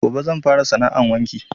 Gobe zan fara sana 'an wanki